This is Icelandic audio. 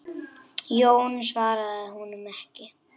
Jón svaraði honum ekki.